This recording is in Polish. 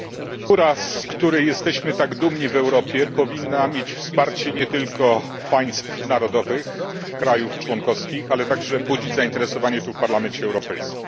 Kultura, z której jesteśmy tak dumni w Europie, powinna mieć wsparcie nie tylko państw narodowych, krajów członkowskich, ale także budzić zainteresowanie w Parlamencie Europejskim.